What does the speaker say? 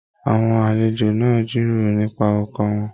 Àwọn àlejò náà n jíròrò nipa ọkọ wọn.